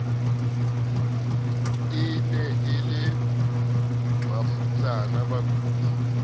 ne e le mafutsana bakudi